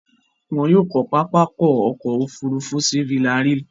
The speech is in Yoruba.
Wọn yóò kọ́ pápákọ̀ ọkọ̀ òfurufú sí Villarreal.